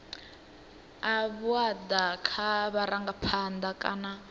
a vhuaḓa kha vharangaphanḓa kana